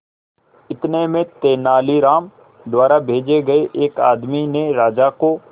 इतने में तेनालीराम द्वारा भेजे गए एक आदमी ने राजा को